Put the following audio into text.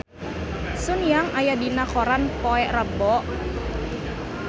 Sun Yang aya dina koran poe Rebo